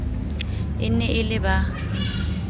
e ne e le ba